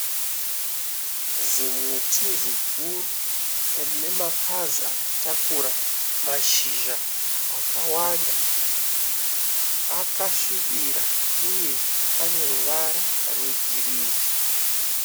Zimuti ziguru rine mapazi akatakura mashizha akawanda. Akasvibirira. Uye aneruvara rwegirinhi.